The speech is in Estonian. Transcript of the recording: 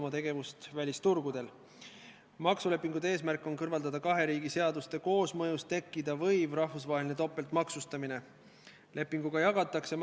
Jah, selles suhtes on teil õigus, et tutvumisaeg on jäänud üsna lühikeseks, aga kuna Reformierakond on esitanud ettepaneku eelnõu teine lugemine katkestada, siis ma arvan, et otsuse tegemine jääb lugupeetud Riigikogu liikmetele.